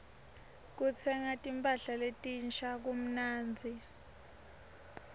kutsenga timpahla letinsha kumnandzi